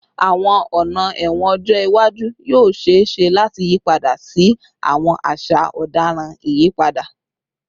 Awọn ọna ẹwọn ọjọ iwaju yoo ṣee ṣe lati yipada si awọn aṣa ọdaràn iyipada